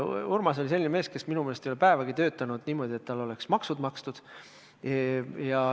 Urmas oli selline mees, kes minu meelest ei ole päevagi töötanud niimoodi, et tal oleks maksud makstud.